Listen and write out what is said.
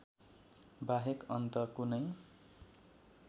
बाहेक अन्त कुनै